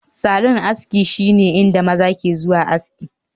Salon aski shine inda maza ke zuwa aski